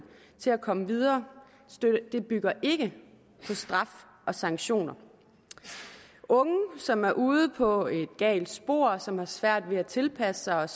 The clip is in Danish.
til at komme videre den bygger ikke på straf og sanktioner unge som er ude på et galt spor som har svært ved at tilpasse sig